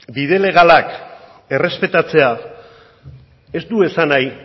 bide legalak errespetatzea ez du esan nahi